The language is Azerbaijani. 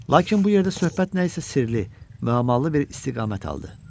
Lakin bu yerdə söhbət nəsə sirli, müəmmalı bir istiqamət aldı.